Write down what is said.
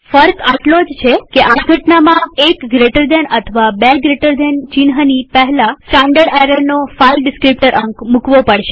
ફર્ક આટલો જ છે કે આ ઘટનામાં એક જમણા ખૂણાવાળા કૌંસ અથવા બે જમણા ખૂણાવાળા કૌંસ ચિહ્નની પહેલા સ્ટાનડર્ડ એરરનો ફાઈલ ડીસ્ક્રીપ્ટર અંક મુકવો પડશે